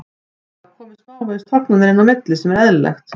Það hafa komið smávegis tognanir inn á milli sem er eðlilegt.